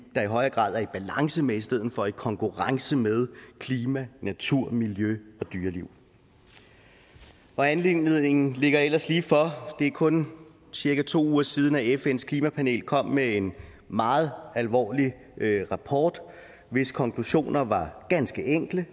der i højere grad er i balance med i stedet for i konkurrence med klima natur miljø og dyreliv anledningen ligger ellers ligefor det er kun cirka to uger siden at fns klimapanel kom med en meget alvorlig rapport hvis konklusioner var ganske enkle